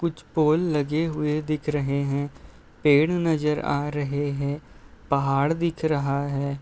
कुछ पोल लगे हुए दिख रहे हैं। पेड़ नजर आ रहे हैं। पहाड़ दिख रहा है।